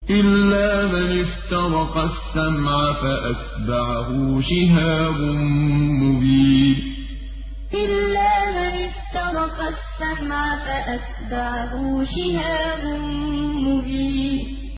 إِلَّا مَنِ اسْتَرَقَ السَّمْعَ فَأَتْبَعَهُ شِهَابٌ مُّبِينٌ إِلَّا مَنِ اسْتَرَقَ السَّمْعَ فَأَتْبَعَهُ شِهَابٌ مُّبِينٌ